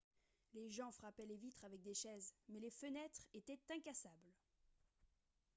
les gens frappaient les vitres avec des chaises mais les fenêtres étaient incassables